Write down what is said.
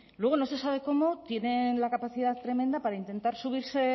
luego no se sabe cómo tienen la capacidad tremenda para intentar subirse